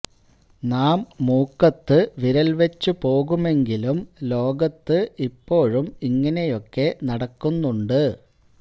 നാം മൂക്കത്ത് വിരൽ വച്ചു പോകുമെങ്കിലും ലോകത്ത് ഇപ്പോഴും ഇങ്ങനെയൊക്കെ നടക്കുന്നുണ്ട്